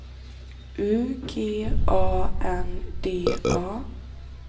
U G A N D A